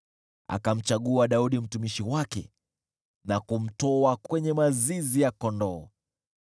Akamchagua Daudi mtumishi wake na kumtoa kwenye mazizi ya kondoo.